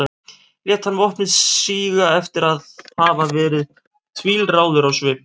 lét hann vopnið síga eftir að hafa verið tvílráður á svip